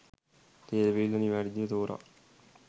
තේරවිල්ල නිවැරදිව තෝරා